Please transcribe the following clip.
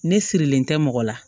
Ne sirilen tɛ mɔgɔ la